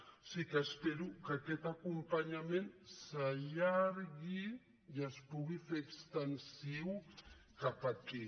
o sigui que espero que aquest acompanyament s’allargui i es pugui fer extensiu cap aquí